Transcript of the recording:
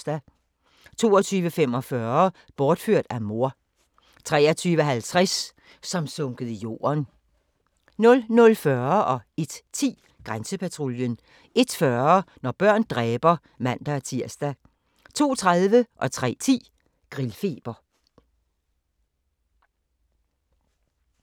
22:45: Bortført af mor 23:50: Som sunket i jorden 00:40: Grænsepatruljen 01:10: Grænsepatruljen 01:40: Når børn dræber (man-tir) 02:30: Grillfeber 03:10: Grillfeber